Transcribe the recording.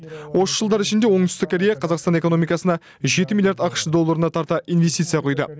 осы жылдар ішінде оңтүстік корея қазақстан экономикасына жеті миллиард ақш долларына тарта инвестиция құйды